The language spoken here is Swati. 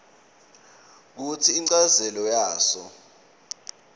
kutsi inchazelo yaso